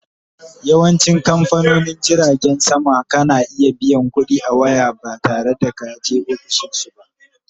Yawancin kamfanonin jiragen sama kana iya biyan ƙuɗi a waya ba tare da kaje ofishinsu ba